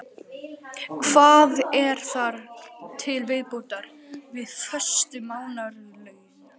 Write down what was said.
Hvað er þar til viðbótar við föst mánaðarlaun?